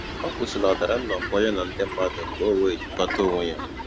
Ọ kwụsịlatara nnọkọ ya na ndị mmadụ ka o wee jikwata onwe ya